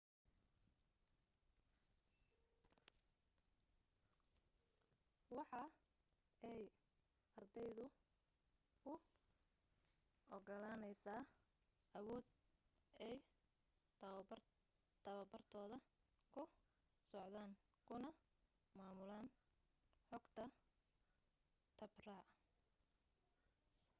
waxa ay ardayda u ogolaaneysa awood ay tabartooda ku socdaan kuna maamulan xogata habraac